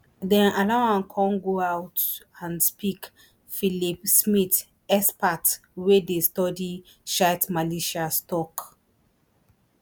dem allow am come go out and speak phillip smyth expert wey dey study shiite militias tok